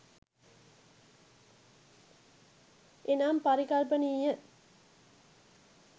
එනම් පරිකල්පනීය